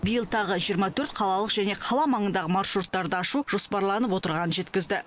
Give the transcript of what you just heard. биыл тағы жиырма төрт қалалық және қала маңындағы маршруттар ашу жоспарланып отырғанын жеткізді